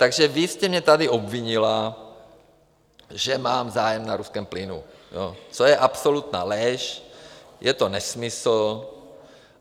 Takže vy jste mě tady obvinila, že mám zájem na ruském plynu, což je absolutní lež, je to nesmysl.